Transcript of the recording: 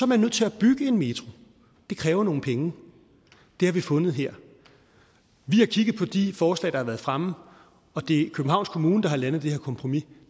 man nødt til at bygge en metro det kræver nogle penge det har vi fundet her vi har kigget på de forslag der har været fremme og det er københavns kommune der har landet det her kompromis